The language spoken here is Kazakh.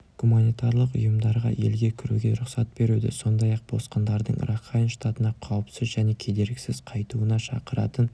гуманитарлық ұйымдарға елге кіруге рұқсат беруді сондай-ақ босқындардың ракхайн штатына қауіпсіз және кедергісіз қайтуына шақыратын